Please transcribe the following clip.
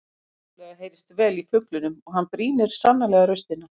Vissulega heyrist vel í fuglinum og hann brýnir sannarlega raustina.